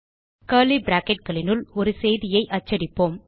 curly bracketகளினுள் ஒரு செய்தியை அச்சடிப்போம்